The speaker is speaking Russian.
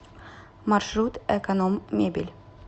маршрут эконом мебель